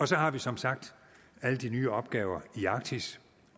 så har vi som sagt alle de nye opgaver i arktis